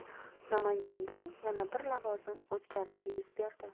Namanganda yana bir lavozim o‘zgarishi yuz berdi.